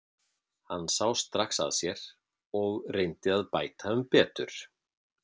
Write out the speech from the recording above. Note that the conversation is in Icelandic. Hann sá strax að sér og reyndi að bæta um betur.